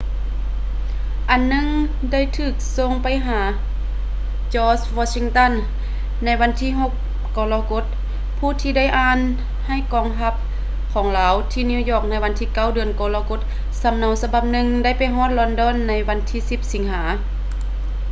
ອັນໜຶ່ງໄດ້ຖືກສົ່ງໄປຫາ george washington ໃນວັນທີ 6 ກໍລະກົດ ຜູ້ທີ່ໄດ້ອ່ານໃຫ້ກອງທັບຂອງລາວທີ່ນິວຢອກໃນວັນທີ 9 ເດືອນກໍລະກົດ ສຳເນົາສະບັບໜຶ່ງໄດ້ໄປຮອດລອນດອນໃນວັນທີ 10 ສິງຫາ